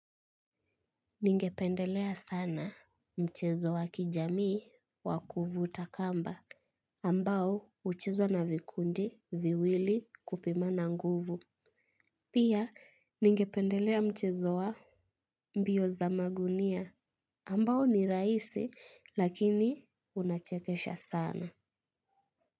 Ningependelea sana mchezo wa kijamii wa kuvuta kamba ambao huchezwa na vikundi viwili kupimana nguvu. Pia ningependelea mchezo wa mbio za magunia ambao ni rahisi lakini unachekesha sana.